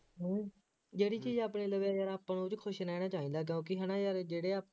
ਜਿਹੜੀ ਚੀਜ਼ ਆਪਣੇ ਲਵੇ ਦੇਖ ਲਾ ਆਪਾਂ ਨੂੰ ਉਹ ਚ ਖੁਸ਼ ਰਹਿਣਾ ਚਾਹੀਦਾ ਕਿਉਂਕਿ ਹੈ ਨਾ ਜਦ ਜਿਹੜੇ ਆਹ